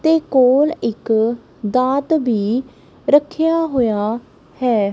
ਤੇ ਕੋਲ ਇੱਕ ਦਾਤ ਵੀ ਰੱਖਿਆ ਹੋਇਆ ਹੈ।